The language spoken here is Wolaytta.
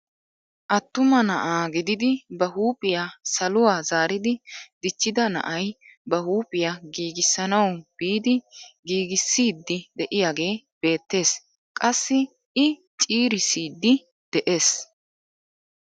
Attuma na'a gididi ba huuphphiyaa saluwaa zaaridi dichchida na'ay ba huuphphiyaa giigissanawu biidi giigissiidi de'iyaagee beettees. qassi i ciirissiidi de'ees.